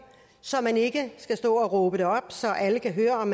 så man ikke skal stå og råbe det op så alle kan høre om